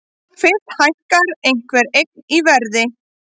Fyrst hækkar einhver eign í verði.